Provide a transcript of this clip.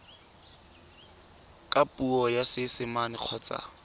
ka puo ya seesimane kgotsa